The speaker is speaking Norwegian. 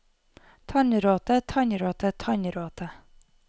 tannråte tannråte tannråte